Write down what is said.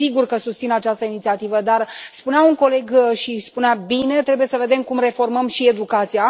Sigur că susțin această inițiativă, dar, spunea un coleg și spunea bine, trebuie să vedem cum reformăm și educația.